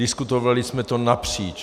Diskutovali jsme to napříč.